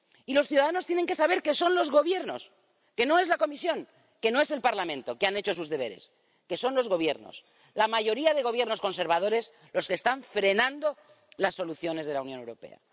Y los ciudadanos tienen que saber que son los Gobiernos —que no es la Comisión, que no es el Parlamento, que han hecho sus deberes—, que son los Gobiernos, la mayoría de Gobiernos conservadores los que están frenando las soluciones de la Unión Europea.